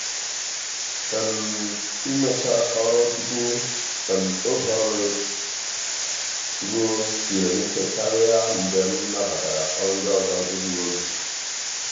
um imecha ọrụ tupu um oge ọrụ ruo siere m ike karị mgbe m nabatara ọrụ ndị ọzọ n'egbughi oge.